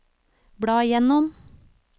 bla gjennom